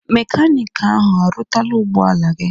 Mekaniki ahụ arụtala ụgbọ ala gị?